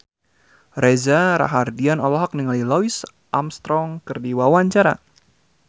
Reza Rahardian olohok ningali Louis Armstrong keur diwawancara